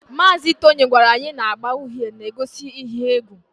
Mazị Tony gwara anyị na agba uhie na-egosi ihe egwu